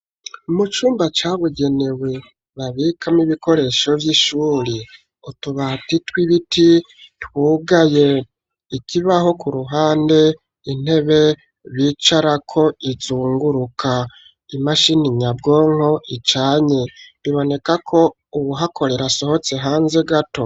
Mu cumba cabugenewe babikamwo ibikoresho vy'ishure, utubati tw'ibiti twugaye, ikibaho k'uruhande, intebe bicarako izunguruka, imashini nyabwonko icanye, biboneka ko uwuhakorera asohotse hanze gato.